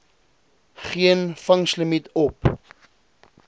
geen vangslimiet op